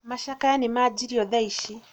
macakaya nĩmanjĩrĩrio thaa ici